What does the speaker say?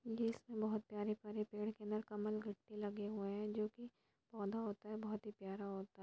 ये बहुत प्यारे प्यारे कमल लगे हुए हैं जो की पौधा होता है बहुत ही प्यारा और होता है।